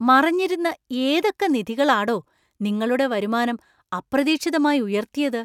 മറഞ്ഞിരുന്ന ഏതൊക്കെ നിധികളാടോ നിങ്ങളുടെ വരുമാനം അപ്രതീക്ഷിതമായി ഉയർത്തിയത് ?